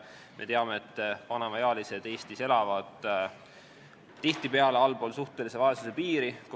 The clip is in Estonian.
Me teame, et vanemaealised elavad Eestis tihtipeale allpool suhtelise vaesuse piiri.